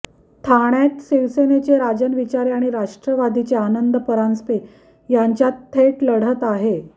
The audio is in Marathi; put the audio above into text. ठाण्यात शिवसेनेचे राजन विचारे आणि राष्ट्रवादीचे आनंद परांजपे यांच्यात थेट लढत आहे